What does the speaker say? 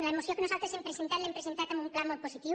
la moció que nosaltres hem presentat l’hem presentada en un pla molt positiu